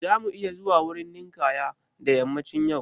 Za mu iya zuwa wurin ninkaya da yammacin yau?